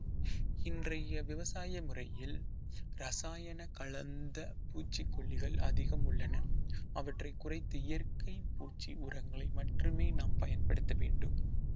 இன்றைய விவசாய முறையில் ரசாயன கலந்த பூச்சிக்கொல்லிகள் அதிகம் உள்ளன அவற்றைக் குறைத்து இயற்கை பூச்சி உரங்களை மட்டுமே நாம் பயன்படுத்த வேண்டும்